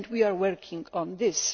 We are working on this.